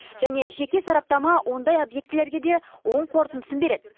және жеке сараптама ондай объектілерге де оң қорытындысын береді